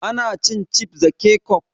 Ana cin cifs da kecof